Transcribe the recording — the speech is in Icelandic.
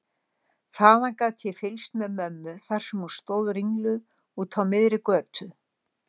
Þaðan gat ég fylgst með mömmu þar sem hún stóð ringluð úti á miðri götu.